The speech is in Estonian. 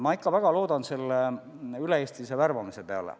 Ma ikka väga loodan selle üle-eestilise värbamise peale.